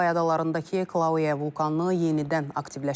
Havay adalarındakı Klauiya vulkanı yenidən aktivləşib.